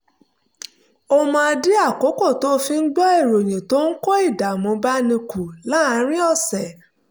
ó máa ń dín àkókò tó fi ń gbọ́ ìròyìn tó ń kó ìdààmú báni kù láàárín ọ̀sẹ̀